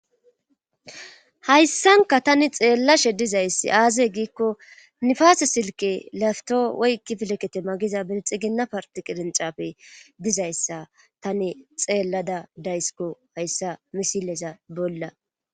Hayssanka tani xeella she dizayssi aazey giikko nifaase silki lafto woykki filekete magiza bilxi ginna parti qirncape dizayssa tani xeellada daysiko hayssa misileza bolla.